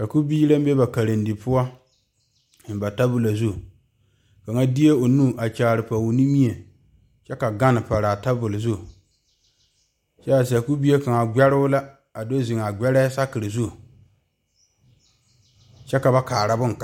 Sakubiiri la be ba karedie poɔ zeŋ ba tabolɔ zu kaŋa deɛ o nu kaara a pɔge o nimie kyɛ ka gane pare a tabol zu kyɛ sakubie kaŋ gbɛro la a do zeŋ a gbɛɛre saakere zu kyɛ ka ba kaara bon kaŋ.